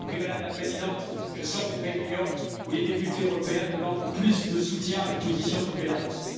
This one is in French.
Enfin, Madame la Présidente, je sors d'une réunion où les députés européens demandent plus de soutien à l'opposition en Biélorussie.